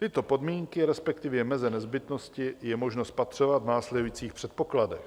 Tyto podmínky, respektive meze nezbytnosti, je možno spatřovat v následujících předpokladech: